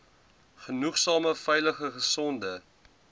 genoegsame veilige gesonde